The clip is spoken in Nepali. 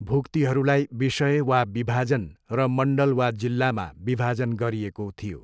भुक्तीहरूलाई विषय वा विभाजन र मण्डल वा जिल्लामा विभाजन गरिएको थियो।